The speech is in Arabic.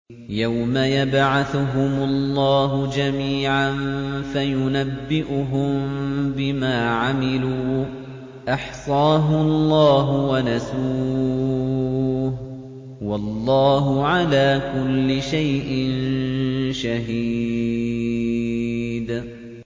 يَوْمَ يَبْعَثُهُمُ اللَّهُ جَمِيعًا فَيُنَبِّئُهُم بِمَا عَمِلُوا ۚ أَحْصَاهُ اللَّهُ وَنَسُوهُ ۚ وَاللَّهُ عَلَىٰ كُلِّ شَيْءٍ شَهِيدٌ